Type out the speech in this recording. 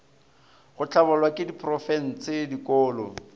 go hlabollwa ke diprofense dikolo